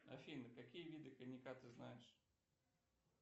афина какие виды коньяка ты знаешь